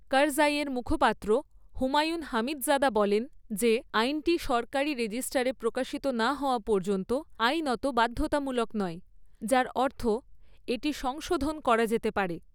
কারজাইয়ের মুখপাত্র Humayun Hamidzada বলেন, যে আইনটি সরকারী রেজিস্টারে প্রকাশিত না হওয়া পর্যন্ত আইনত বাধ্যতামূলক নয়, যার অর্থ এটি সংশোধন করা যেতে পারে।